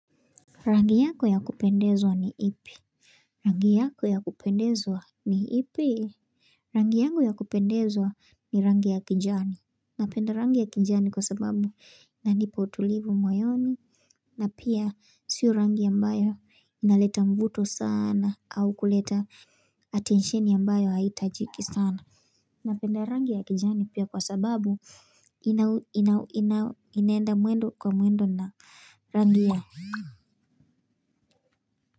Rangi yako ya kupendezwa ni ipi. Rangi yako ya kupendezwa ni ipi. Rangi yangu ya kupendezwa ni rangi ya kijani. Napenda rangi ya kijani kwa sababu inanipa utulivu moyoni. Na pia sio rangi ambayo inaleta mvuto sana au kuleta atensheni ambayo haitajiki sana. Napenda rangi ya kijani pia kwa sababu inaenda mwendo kwa mwendo na rangi ya.